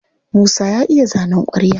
Musa ya iya zanen ƙwarya.